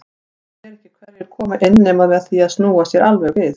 Maður sér ekki hverjir koma inn nema með því að snúa sér alveg við.